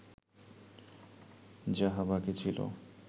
যাহা বাকি ছিল